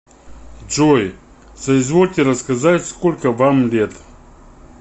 джой соизвольте рассказать сколько вам лет